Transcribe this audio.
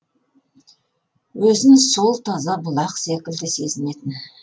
өзін сол таза бұлақ секілді сезінетін